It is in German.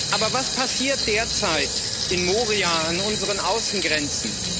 Aber was passiert derzeit in Moria, an unseren Außengrenzen?